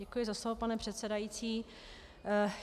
Děkuji za slovo, pane předsedající.